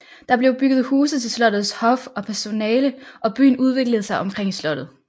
Der blev bygget huse til slottets hof og personale og byen udviklede sig omkring slottet